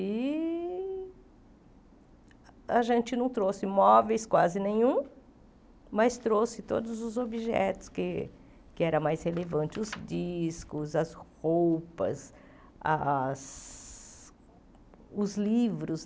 E a gente não trouxe móveis, quase nenhum, mas trouxe todos os objetos que que eram mais relevantes, os discos, as roupas, as os livros.